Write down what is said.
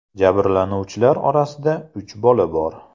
Jabrlanuvchilar orasida uch bola bor.